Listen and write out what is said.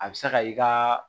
A bɛ se ka i ka